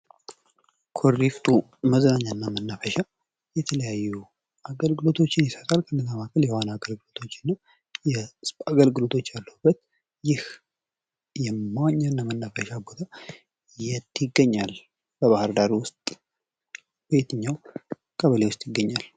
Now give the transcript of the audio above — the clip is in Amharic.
ኩሪፍቱ መዝናኛ እና መናፈሻ የተለያዩ አገልግሎቶችን ይሰጣል። ለምሳሌ ያክል የዋና አገልግሎቶች እና የስፖርት አገልግሎቶች። ይህ መዋኛ እና መናፈሻ ቦታ የት ይገኛል? በባህር ዳር ውስጥ በየትኛው ቀበሌ ውስጥ ይገኛል?